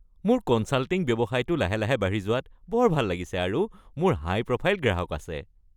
মোৰ কনছাল্টিং ব্যৱসায়টো লাহে লাহে বাঢ়ি যোৱাত বৰ ভাল লাগিছে আৰু মোৰ হাই-প্ৰফাইল গ্ৰাহক আছে।